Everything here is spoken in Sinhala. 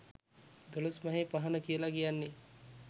දොළොස් මහේ පහන කියල කියන්නේ